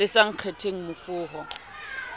le sa kgetheng mofo ho